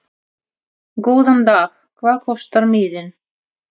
Góðan dag. Hvað kostar miðinn?